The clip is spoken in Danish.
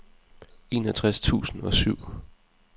enogtres tusind og syv